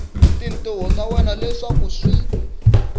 tintiho ta wena leswaku swi